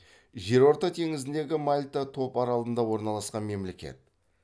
жерорта теңізіндегі мальта топаралында орналасқан мемлекет